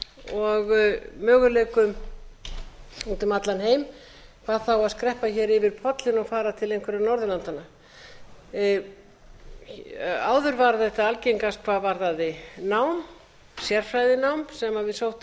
og möguleikum út um allan heim hvað þá að skreppa hér yfir pollinn og fara til einhverra norðurlandanna áður var þetta algengast hvað varðaði nám sérfræðinám sem íslendingar sóttu helst